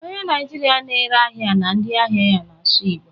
Onye Naịjirịa na-ere ahịa na ndị ahịa ya na-asụ igbo.